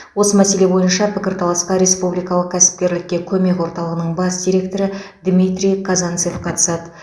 осы мәселе бойынша пікірталасқа республикалық кәсіпкерлікке көмек орталығының бас директоры дмитрий казанцев қатысады